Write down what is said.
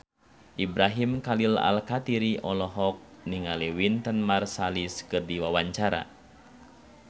Ibrahim Khalil Alkatiri olohok ningali Wynton Marsalis keur diwawancara